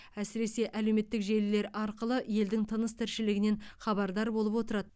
әсіресе әлеуметтік желілер арқылы елдің тыныс тіршілігінен хабардар болып отырады